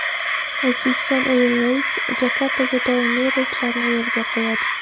Uzbekistan Airways Jakartaga doimiy reyslarni yo‘lga qo‘yadi.